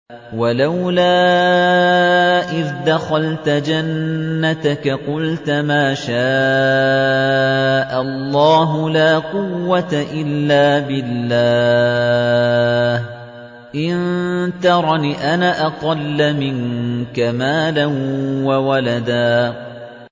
وَلَوْلَا إِذْ دَخَلْتَ جَنَّتَكَ قُلْتَ مَا شَاءَ اللَّهُ لَا قُوَّةَ إِلَّا بِاللَّهِ ۚ إِن تَرَنِ أَنَا أَقَلَّ مِنكَ مَالًا وَوَلَدًا